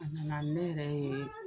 A nana ne yɛrɛ ye